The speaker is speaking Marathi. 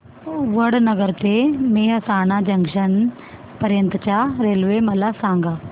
वडनगर ते मेहसाणा जंक्शन पर्यंत च्या रेल्वे मला सांगा